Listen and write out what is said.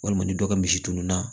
Walima ni dɔ ka misi tununna